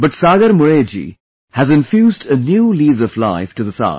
But Sagar Mule ji has infused a new lease of life to this art